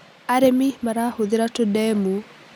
arĩmi marahũthira tũndemu